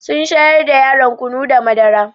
Sun shayar da yaron kunu da madara.